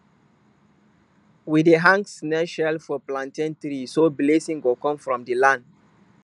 we dey hang snail shell for plantain tree so blessing go come from the land